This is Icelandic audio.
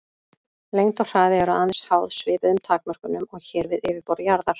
Lengd og hraði eru aðeins háð svipuðum takmörkunum og hér við yfirborð jarðar.